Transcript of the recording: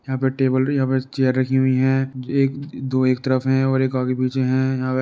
यहाँ पे टेबल यहाँ पर चेयर रखी हुई है। एक दो एक तरफ है और एक आगे पीछे है। यहाँ --